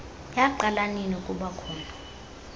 yaqala ninina ukubakhona